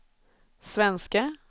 svenske